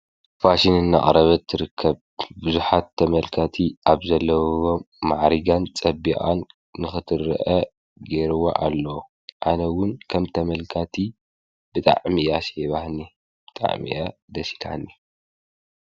ፋሽን እና ዓረበት ርከብ ብዙኃት ተመልካቲ ኣብ ዘለቦ መዓሪጋን ጸቢኣን ንኽትርአ ጌርዋ ኣሎ ኣነውን ከም ተመልካቲ ብጣዕሚእያ ሴባህኒ ጣዕሚኣ ደሲዳኒ።